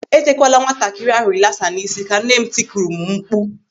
"E tekwala nwatakịrị ahụ rilasa n'isi!" ka nne m tikuru m mkpu.